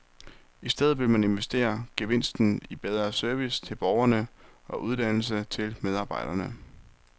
I stedet vil man investere gevinsten i bedre service til borgerne og uddannelse til medarbejderne.